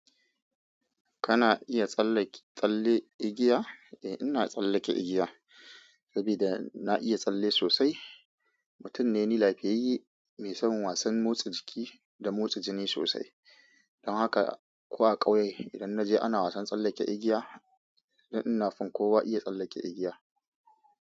Kana iya tsallake tsalle igiya? Eh ina tsallake igiya saboda na iya tsalle sosai. Mutum ne ni lafiyayye, mai son wasan motsa jiki da motsa jini sosai. Don haka, ko a ƙauye, idan naje ana wasan tsallake igiya! Ni ina fin kowa iya tsallake igiya.